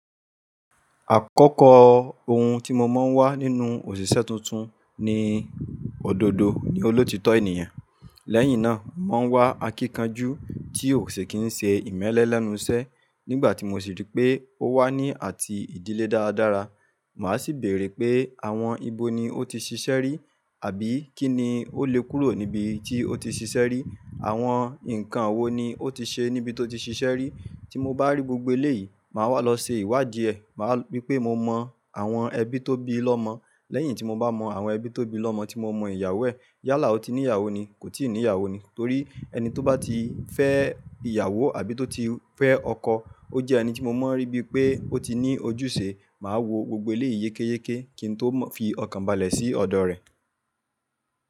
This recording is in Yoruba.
Àkọ́kọ́ ohun tí mo máa ń wá nínú òṣìṣẹ́ tuntun ni òdodo ni olóòtítọ́ ènìyàn. Lẹ́yìn náà, màá wá akíkanjú tí ò ṣe kì ń ṣe ìmẹ́lẹ́ lẹ́nu iṣẹ́. Nígbà tí mo sì rí pé ó wà ní àti ìdílé dáradára, màá sì bèrè pé àwọn ibo ni ó ti ṣiṣẹ́ rí àbí kí ni ó lè kúrò níbi tí ó ti ṣiṣẹ́ rí. Àwọn nǹkan wo ni ó ti ṣe níbi tó ti ṣiṣẹ́ rí. Tí mo bá rí gbogbo eléyìí, màá wá lọ ṣe ìwádìí ẹ. Máa rí pé mo mọ àwọn ẹbí tó bí lọ́mọ. Lẹ́yìn tí mo bá mọ àwọn ẹbí tó bí lọ́mọ tí mo mọ ìyàwó ẹ̀, yálà ó ti ní ìyàwó ni, kò ti ì ní ìyàwó ni. Torí ẹni tó bá ti fẹ́ ìyàwó àbí tó ti fẹ́ ọkọ, ó jẹ́ ẹni tí mo máa rí bí pé ó ti ní ojúṣe. Màá wo gbogbo eléyìí yékéyéké kí n tó fi ọkàn balẹ̀ sí ọ̀dọ̀ rẹ̀.